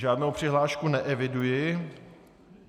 Žádnou přihlášku neeviduji.